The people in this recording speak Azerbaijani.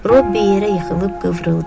Robbi yerə yıxılıb qıvrıldı.